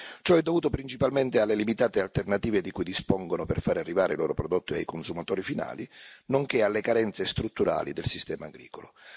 Ciò è dovuto principalmente alle limitate alternative di cui dispongono per fare arrivare i loro prodotti ai consumatori finali, nonché alle carenze strutturali del sistema agricolo.